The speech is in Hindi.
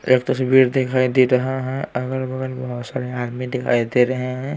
एक तस्वीर दिखाई दे रहा है अगल बगल बहुत सारे आदमी दिखाई दे रहे हैं।